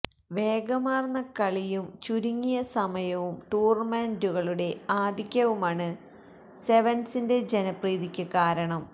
വേഗമാര്ന്ന കളിയും ചുരുങ്ങിയ സമയവും ടൂര്ണമെന്റുകളുടെ ആധിക്യവുമാണ് സെവന്സിന്റെ ജനപ്രതീക്ക് കാരണം